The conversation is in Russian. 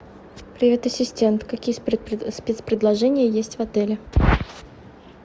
привет ассистент какие спецпредложения есть в отеле